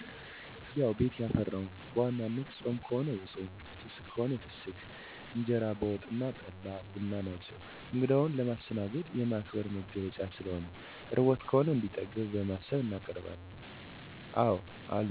ያዉ ቤት ያፈራዉን፦ በዋናነት ጾም ከሆነ የጾም ፍስክ ከሆነ የፍሰክ እንጀራ በወጥ አና ጠላ፣ ቡና ናቸዉ። እንግዳዉን ለማስተናገድ፣ የማክበር መገለጫ ስለሆነ፣ ርቦት ከሆነ እንዲጠግብ በማሰብ እናቀርባለን። አወ አሉ ለምሳሌ አዲስ የልጅ ባል ሲመጣ አክብረን በግ አናርዳለን፣ ለሌሎች አንግዶች ደግሞ መጀመሪያ አጎዛ አንጥፈን እናስቀምጣለን፣ ጠላ በዋንጫ እንጀራ በመጣጣቢት በአርጎና የሻኛ ስጋ፣ በቂቤ የታሸ ጨዉ፣ ጾም ከሆነ እልበት፣ ክክ የመሳሰሉት ናቸዉ።